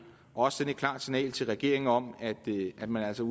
og også sende et klart signal til regeringen om at man altså